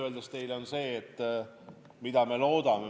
Mida me loodame?